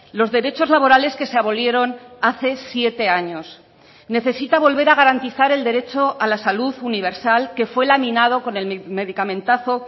los derechos laborales que se abolieron hace siete años necesita volver a garantizar el derecho a la salud universal que fue laminado con el medicamentazo